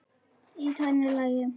Í tvennu lagi.